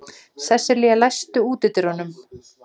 Sesselía, læstu útidyrunum.